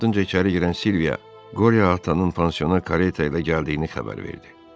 Onun ardınca içəri girən Silviya Qorya Atanın pansiyona kareta ilə gəldiyini xəbər verdi.